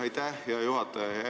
Aitäh, hea juhataja!